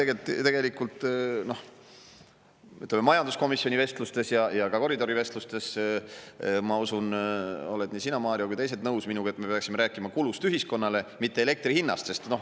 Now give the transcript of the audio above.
Ütleme, tegelikult majanduskomisjoni vestlustes ja ka koridorivestlustes, ma usun, oled nii sina, Mario, kui on teised minuga nõus, et me peaksime rääkima kulust ühiskonnale, mitte elektri hinnast.